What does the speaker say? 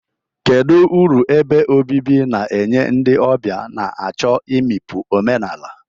Kedu uru ebe obibi na-enye ndị ọbịa na-achọ imikpu omenala?